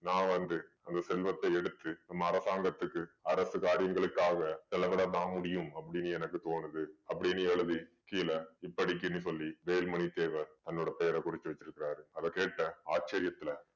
நான் வந்து அந்த செல்வத்தை எடுத்து நம்ம அரசாங்கத்துக்கு அரசு காரியங்களுக்காக செலவுலதான் முடியும் அப்படின்னு எனக்கு தோணுது அப்படின்னு எழுதி கீழே இப்படிக்குன்னு சொல்லி வேலுமணி தேவர் தன்னோட பெயரை குறிச்சு வச்சிருக்காரு அத கேட்ட ஆச்சரியத்துல